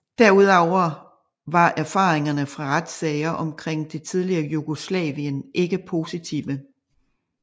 Derudover var erfaringerne fra retssager omkring det tidligere Jugoslavien ikke positive